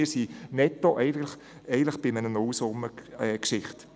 Netto befinden wir uns also in einer Nullsummengeschichte.